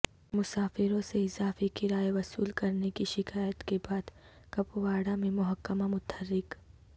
مسافروں سے اضافی کرایہ وصول کرنے کی شکایات کے بعد کپواڑہ میںمحکمہ متحرک